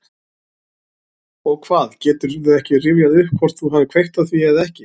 Og hvað, geturðu ekki rifjað upp hvort þú hafir kveikt á því eða ekki?